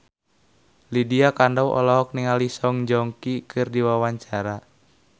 Lydia Kandou olohok ningali Song Joong Ki keur diwawancara